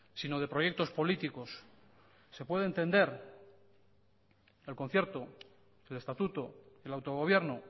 sino de proyectos políticos se puede entender que el concierto el estatuto el autogobierno